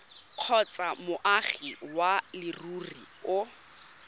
kgotsa moagi wa leruri o